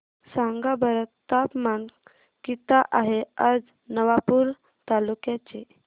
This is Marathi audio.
सांगा बरं तापमान किता आहे आज नवापूर तालुक्याचे